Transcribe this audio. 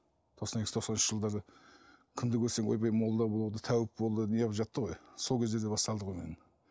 тоқсан екінші тоқсан үшінші жылдары кімді көрсең ойбай молда болды тәуіп болды неғып жатты ғой сол кездерде басталды ғой